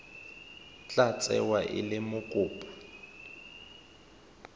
tla tsewa e le mokopa